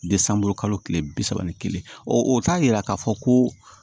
kalo tile bi saba ni kelen o t'a yira k'a fɔ ko